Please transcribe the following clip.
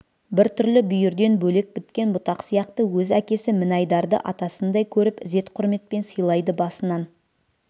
бір түрлі бүйірден бөлек біткен бұтақ сияқты өз әкесі мінайдарды атасындай көріп ізет құрметпен сыйлайды басынан